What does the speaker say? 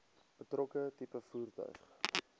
betrokke tipe voertuig